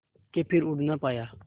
के फिर उड़ ना पाया